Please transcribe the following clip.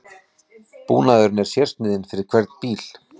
Búnaðurinn er sérsniðinn fyrir hvern bíl